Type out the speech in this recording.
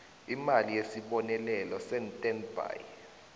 imali yesibonelelo sestandby